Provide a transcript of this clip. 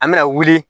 An bɛna wuli